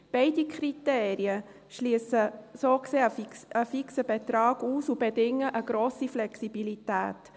Beide Kriterien schliessen so gesehen einen fixen Betrag aus und bedingen eine grosse Flexibilität.